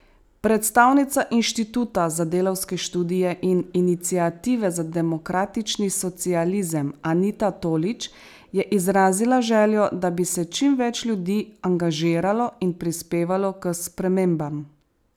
Predstavnica Inštituta za delavske študije in Iniciative za demokratični socializem Anita Tolič je izrazila željo, da bi se čim več ljudi angažiralo in prispevalo k spremembam.